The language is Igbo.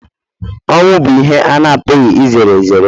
ọnwụ bụ ihe a na-apụghị izere ezere